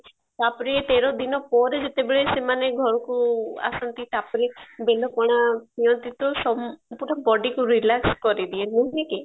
ତାପରେ ତେର ଦିନପରେ ଯେତେବେଳେ ସେମାନେ ଘରକୁ ଆସନ୍ତି ତାପରେ ବେଲ ପଣା ପିଆନ୍ତି ତ ସବୁଠୁ body କୁ relax କରିଦିଏ ନୁହେ କି